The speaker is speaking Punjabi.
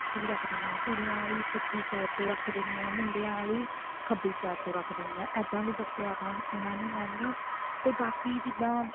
ਪੱਟੀ ਰੱਖ ਦਿੰਦੇ ਹਾਂ ਕੁੜੀਆਂ ਆਲੀ ਸੱਜੀ side ਤੋਂ ਰੱਖ ਦਿੰਦੇ ਹਾਂ ਮੁੰਡਿਆ ਆਲੀ ਖੱਬੀ side ਤੋਂ ਰੱਖ ਦਿੰਦੇ ਹਾਂ ਇੱਦਾਂ ਵੀ ਦੱਸਿਆ ਵਾ ਉਹਨਾ ਨੇ mam ਨੇ ਤੇ ਬਾਕੀ ਜਿੱਦਾਂ